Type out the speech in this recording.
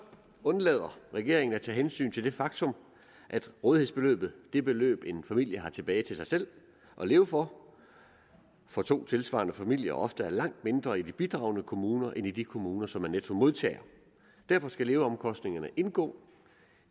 undlader regeringen at tage hensyn til det faktum at rådighedsbeløbet det beløb en familie har tilbage til sig selv at leve for for to tilsvarende familier ofte er langt mindre i de bidragende kommuner end i de kommuner som er nettomodtagere derfor skal leveomkostningerne indgå